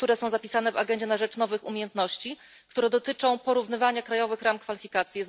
zapisane w agendzie na rzecz nowych umiejętności, które dotyczą porównywania krajowych ram kwalifikacji.